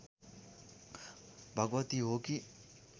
भगवती हो कि